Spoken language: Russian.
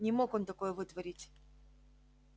не мог он такое вытворить